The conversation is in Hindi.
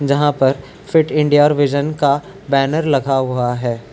यहाँ पर फिट इंडिया विज़न का बैनर लगा हुआ है।